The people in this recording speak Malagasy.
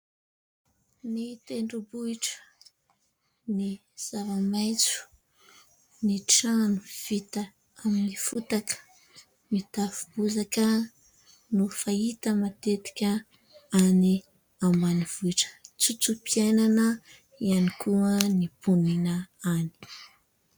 Ny tendrom-bohitra, ny zava-maitso, ny trano vita amin'ny fotaka mitafo bozaka no fahita matetika any ambanivohitra, tsotso-piainana ihany koa ny mponina any.